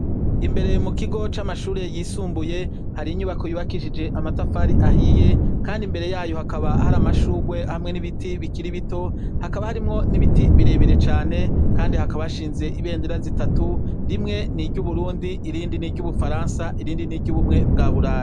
Imbere mukigo camashure yisumbuye hari inyubako yubakishije amatafari ahiye kandi imbere yayo hakaba hari amashurwe hamwe nibiti bikiri bito hakaba harimwo nibiti birebire cane kandi hakaba hashinze ibendera zitatu rimwe niryuburundi irindi niryubufaransa irindi niryubumwe bwaburayi